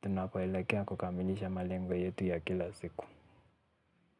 tunapoelekea kukamilisha malengo yetu ya kila siku.